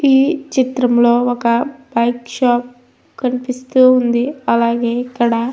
ఈ చిత్రంలో ఒక వర్క్ షాప్ కనిపిస్తూ ఉంది. అలాగే ఇక్కడ --